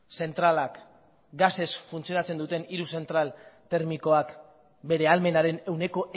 zentralak gasez funtzionatzen duten hiru zentral termikoak bere ahalmenaren ehuneko